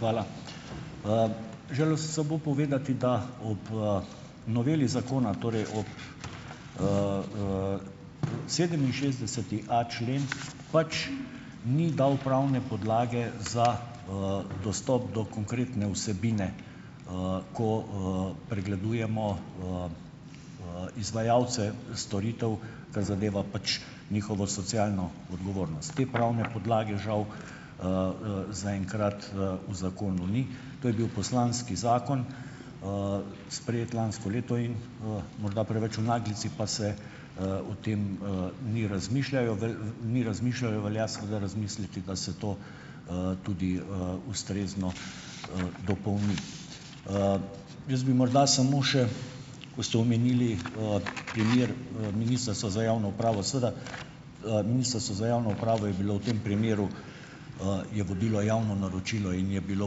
Hvala. Želel sem samo povedati, da ob, noveli zakona, torej ob, sedeminšestdeseti a člen pač ni dal pravne podlage za, dostop do konkretne vsebine, ko, pregledujemo, izvajalce storitev, kar zadeva pač njihovo socialno odgovornost. Te pravne podlage žal, zaenkrat, v zakonu ni. To je bil poslanski zakon, sprejet lansko leto. In, morda preveč v naglici pa se, o tem, ni razmišljajo ni razmišljalo. Velja seveda razmisliti, da se to, tudi, ustrezno, dopolni. Jaz bi morda samo še, ko ste omenili, primer, Ministrstva za javno upravo. Seveda, Ministrstvo za javno upravo je bilo v tem primeru, je vodilo javno naročilo in je bilo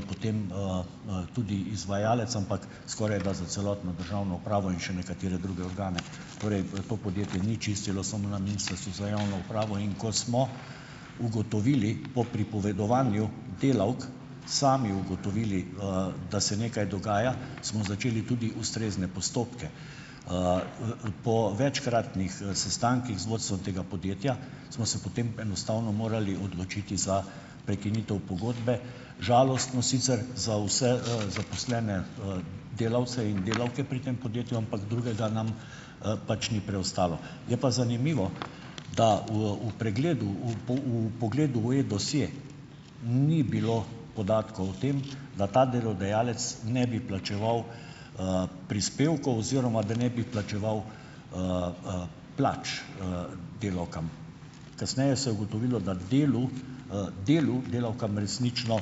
potem, tudi izvajalec, ampak skorajda za celotno državno upravo in še nekatere druge organe. Torej v to podjetje ni čistilo samo na Ministrstvu za javno upravo. In ko smo ugotovili po pripovedovanju delavk, sami ugotovili, da se nekaj dogaja, smo začeli tudi ustrezne postopke. Po večkratnih, sestankih z vodstvom tega podjetja smo se potem enostavno morali odločiti za prekinitev pogodbe. Žalostno sicer za vse, zaposlene, delavce in delavke pri tem podjetju, ampak drugega nam, pač ni preostalo. Je pa zanimivo, da v v pregledu, v v vpogledu v e dosje ni bilo podatkov o tem, da ta delodajalec ne bi plačeval, prispevkov oziroma da ne bi plačeval, plač, delavkam. Kasneje se je ugotovilo, da delu, delu delavkam resnično,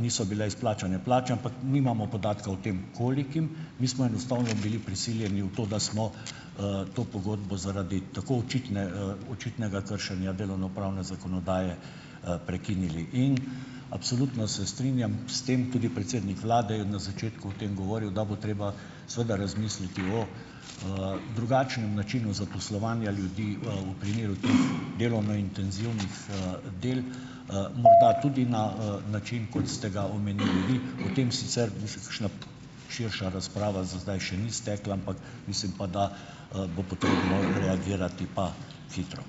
niso bile izplačane plače, ampak nimamo podatka o tem, kolikim. Mi smo enostavno bili prisiljeni v to, da smo, to pogodbo zaradi tako očitne, očitnega kršenja delovnopravne zakonodaje, prekinili. In absolutno se strinjam s tem, tudi predsednik vlade je na začetku o tem govoril, da bo treba seveda razmisliti o, drugačnem načinu zaposlovanja ljudi, v primeru delovno intenzivnih, del, morda tudi na, način, kot ste ga omenili vi . O tem sicer bi se kakšna širša razprava za zdaj še ni stekla, ampak mislim pa, da, bo potrebno reagirati pa hitro.